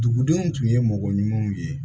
Dugudenw tun ye mɔgɔ ɲumanw ye